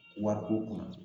Wariko kɔnɔ